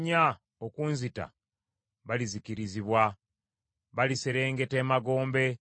Naye abo abannoonya okunzita balizikirizibwa, baliserengeta emagombe.